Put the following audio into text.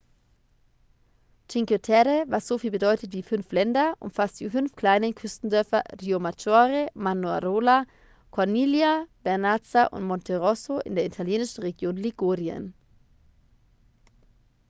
cinque terre was soviel bedeutet wie fünf länder umfasst die fünf kleinen küstendörfer riomaggiore manarola corniglia vernazza und monterosso in der italienischen region ligurien